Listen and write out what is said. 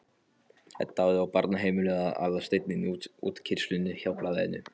Edda hafði á barnaheimilinu eða Aðalsteinn í útkeyrslunni hjá Blaðinu.